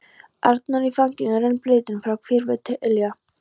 Arnór í fanginu, rennblautan frá hvirfli til ilja.